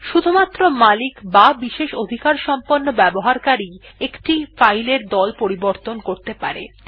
শুধুমাত্র মালিক বা বিশেষ অধিকার সম্পন্ন ব্যবহারকারী একটি ফাইল এর দল পরিবর্তন করতে পারে